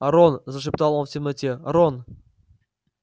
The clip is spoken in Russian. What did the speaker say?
рон зашептал он в темноте рон